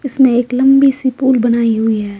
इसमें एक लंबी सी पूल बनाई हुई है।